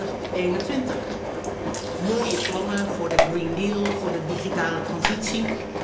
2021. Mooie plannen voor de Green Deal en de digitale transitie.